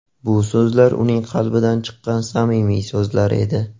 Bu so‘zlar uning qalbidan chiqqan samimiy so‘zlar edi.